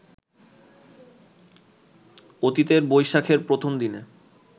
অতীতে বৈশাখের প্রথম দিনে